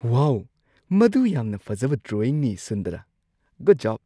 ꯋꯥꯎ! ꯃꯗꯨ ꯌꯥꯝꯅ ꯐꯖꯕ ꯗ꯭ꯔꯣꯋꯤꯡꯅꯤ ꯁꯨꯟꯗꯥꯔꯥ! Good job.